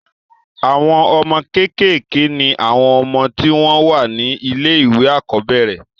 àwọn ọmọ kékèké ni àwọn ọmọ tí wọ́n wà ní ilé ìwé àkọ́bẹ̀rẹ̀